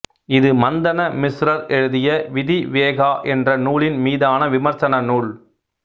இது மந்தன மிஸ்ரர் எழுதிய விதி விவேகா என்ற நூலின் மீதான விமர்சன நூல்